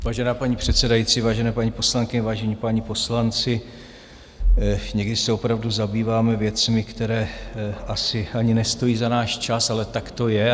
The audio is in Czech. Vážená paní předsedající, vážené paní poslankyně, vážení páni poslanci, někdy se opravdu zabýváme věcmi, které asi ani nestojí za náš čas, ale tak to je.